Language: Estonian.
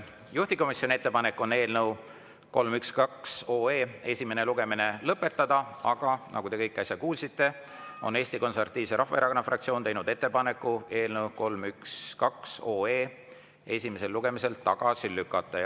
Juhtivkomisjoni ettepanek on eelnõu 312 esimene lugemine lõpetada, aga nagu te äsja kuulsite, on Eesti Konservatiivse Rahvaerakonna fraktsioon teinud ettepaneku eelnõu 312 esimesel lugemisel tagasi lükata.